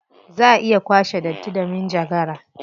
Za a iya kwace datti da manjagara.